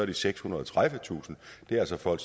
det sekshundrede og tredivetusind og det er altså folk